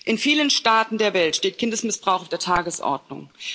In vielen Staaten der Welt steht Kindesmissbrauch auf der Tagesordnung.